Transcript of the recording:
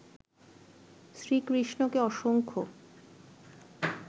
শ্রীকৃষ্ণকে অসংখ্য